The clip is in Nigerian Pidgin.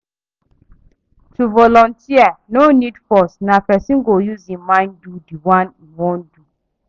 To volunteer no need force na person go use im mind do di one im won do